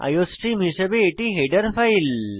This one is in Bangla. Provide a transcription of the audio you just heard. আইওস্ট্রিম হিসাবে এটি হেডার ফাইল